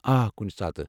آ، کُنہِ ساتہٕ۔